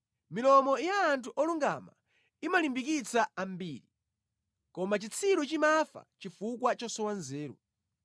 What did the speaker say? Milomo ya anthu olungama imalimbikitsa ambiri; koma chitsiru chimafa chifukwa chosowa nzeru.